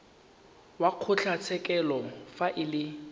wa kgotlatshekelo fa e le